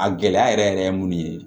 A gɛlɛya yɛrɛ yɛrɛ ye mun ye